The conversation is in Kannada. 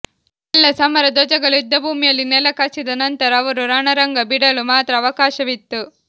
ಎಲ್ಲಾ ಸಮರ ಧ್ವಜಗಳು ಯುದ್ದಭೂಮಿಯಲ್ಲಿ ನೆಲಕಚ್ಚಿದ ನಂತರ ಅವರು ರಣರಂಗ ಬಿಡಲು ಮಾತ್ರ ಅವಕಾಶವಿತ್ತು